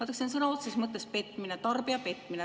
See on sõna otseses mõttes petmine, tarbija petmine.